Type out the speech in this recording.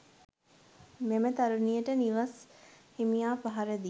මෙම තරුණියට නිවෙස් හිමියා පහර දි